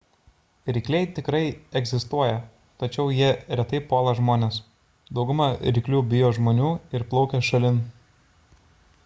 rykliai tikrai egzistuoja tačiau jie retai puola žmones dauguma ryklių bijo žmonių ir plaukia šalin